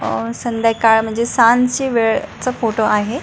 अह संध्याकाळ म्हणजे सांजची वेळचा फोटो आहे.